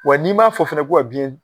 Wa n'i m'a fɔ fɛnɛ ko ka biyɛn